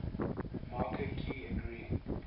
marker ki agreeing